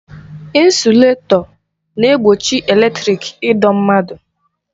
Ịnsụletọ na-egbochi eletrịk ịdọ mmadụ.